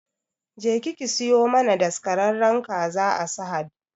Jeki ki siyo mana daskararren kaza a sahad